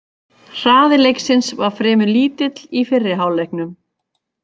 Hraði leiksins var fremur lítill í fyrri hálfleiknum.